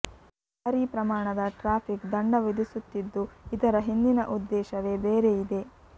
ಭಾರೀ ಪ್ರಮಾಣದ ಟ್ರಾಫಿಕ್ ದಂಡ ವಿಧಿಸುತ್ತಿದ್ದು ಇದರ ಹಿಂದಿನ ಉದ್ದೇಶವೇ ಬೇರೆ ಇದೆ